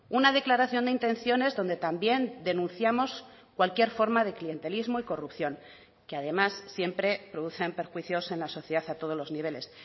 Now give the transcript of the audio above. una declaración de intenciones donde también denunciamos cualquier forma de clientelismo y corrupción que además siempre producen perjuicios en la sociedad a todos los niveles